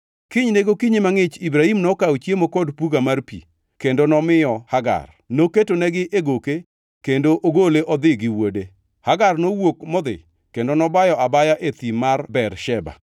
Kinyne gokinyi mangʼich Ibrahim nokawo chiemo kod puga mar pi kendo nomiyo Hagar. Noketonegi e goke kendo ogole odhi gi wuode. Hagar nowuok modhi kendo nobayo abaya e thim mar Bersheba.